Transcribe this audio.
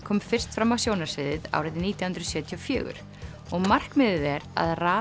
kom fyrst fram á sjónarsviðið árið nítján hundruð sjötíu og fjögur og markmiðið er að raða